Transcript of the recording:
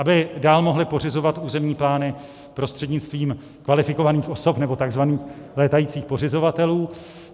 Aby dál mohly pořizovat územní plány prostřednictvím kvalifikovaných osob nebo tzv. létajících pořizovatelů.